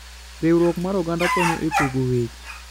Riwruok mar oganda konyo e pogo weche.